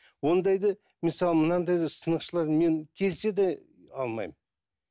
ондайды мен саған мынандай сынықшылар мен келсе де алмаймын